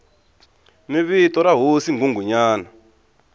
ni vito ra hosi nghunghunyana